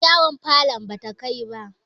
yar yawon falon bata Kai ba